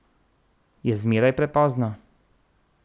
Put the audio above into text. Je zmeraj prepozno?